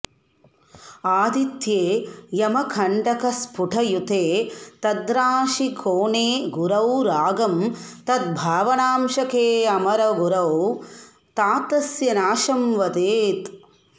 आदित्ये यमकण्टकस्फुटयुते तद्राशिकोणे गुरौ रागं तद्भावनांशकेऽमरगुरौ तातस्य नाशं वदेत्